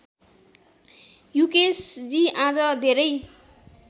युकेशजी आज धेरै